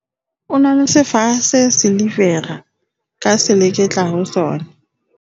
o na le sefaha se silivera ka seleketla ho sona